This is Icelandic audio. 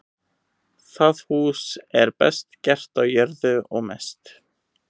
Það hús er best gert á jörðu og mest.